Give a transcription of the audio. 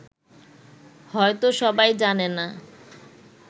হয়ত সবাই জানে না